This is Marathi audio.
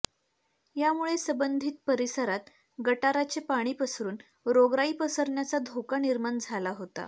यामुळे संबंधित परिसरात गटाराचे पाणी पसरून रोगराई पसरण्याचा धोका निर्माण झाला होता